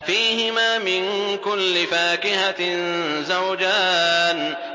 فِيهِمَا مِن كُلِّ فَاكِهَةٍ زَوْجَانِ